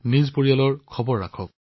নিজৰ পৰিয়ালৰো যত্ন লওক